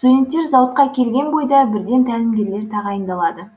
студенттер зауытқа келген бойда бірден тәлімгерлер тағайындалады